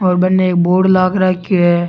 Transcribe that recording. और बनने एक बोर्ड लाग राख्यो है।